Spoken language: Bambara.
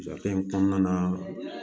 in kɔnɔna na